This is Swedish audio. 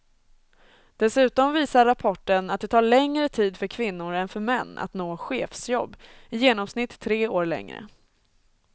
Dessutom visar rapporten att det tar längre tid för kvinnor än för män att nå chefsjobb, i genomsnitt tre år längre.